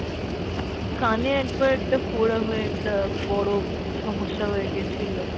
কানে একবার একটা ফোঁড়া হয়ে একটা বড় সমস্যা হয়ে গেছিলো।